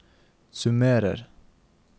summerer